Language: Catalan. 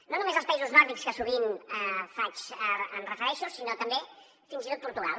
no només als països nòrdics a què sovint em refereixo sinó també fins i tot por·tugal